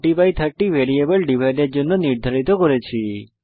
মান 3030 variable divide এর জন্য নির্ধারিত করেছি